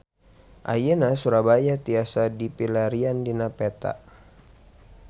Ayeuna Surabaya tiasa dipilarian dina peta